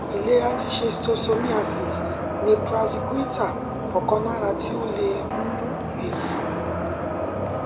ilera ti schistosomiasis ni praziquintal ọkanara ti o le ti mu eyi